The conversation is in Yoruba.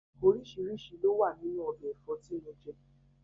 Oríṣiríṣi ló wà nínú ọbẹ̀ Ẹ̀fọ́ tí mo jẹ